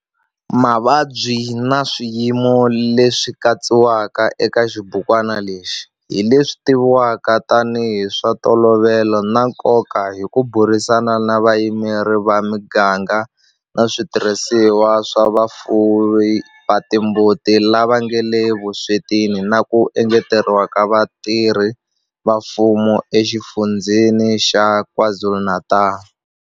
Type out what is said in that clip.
Mavabyi na swiyimo leswi katsiwaka eka xibukwana lexi hi leswi tivivwaka tanihi hi swa ntolovelo na nkoka hi ku burisana na vayimeri va miganga na switirhisiwa swa vafuwi va timbuti lava nga le vuswetini na ku engeteriwa ka vatirhi va mfumo eXifundzheni xa KwaZulu-Natal.